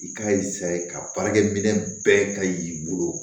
I k'a ye ka baarakɛminɛ bɛɛ ka y'i bolo